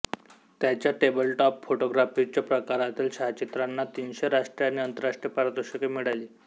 त्याच्या टेबलटॉप फोटोग्राफीच्या प्रकारातील छायाचित्रांना तीनशे राष्ट्रीय आणि आंतरराष्ट्रीय पारितोषिके मिळाली